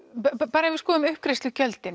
bara ef við skoðum uppgreiðslugjöldin